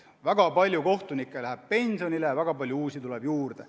Väga palju kohtunikke läheb pensionile, väga palju uusi tuleb juurde.